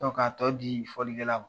Sɔrɔ k'a tɔ di fɔlikɛla ma.